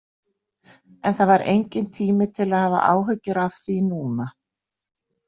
En það var enginn tími til að hafa áhyggjur af því núna.